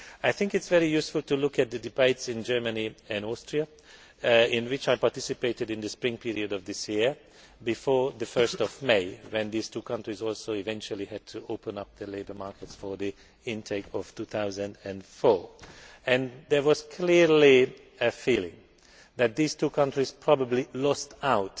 I think it is very useful to look at the debates in Germany and Austria, in which I participated in the spring period of this year, before 1 May, when these two countries also eventually had to open up their labour markets for the 2004 intake. There was clearly a feeling that these two countries probably lost out